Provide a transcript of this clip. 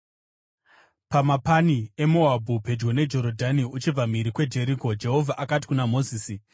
Pamapani eMoabhu pedyo neJorodhani uchibva mhiri kuJeriko, Jehovha akati kuna Mozisi,